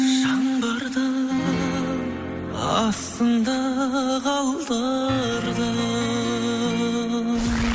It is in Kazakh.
жаңбырдың астында қалдырдың